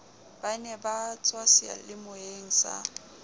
ba ne ba tswaseyalemoyeng sa